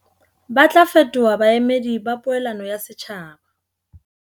Ba tla fetoha baemedi ba poelano ya setjhaba.